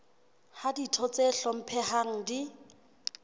ha ditho tse hlomphehang di